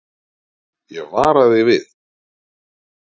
Ég vara þig við.